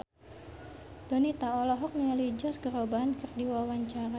Donita olohok ningali Josh Groban keur diwawancara